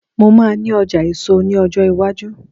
mo ma ní ọjà èso ní ọjọ iwaju